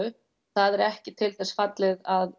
það er ekki til þess fallið að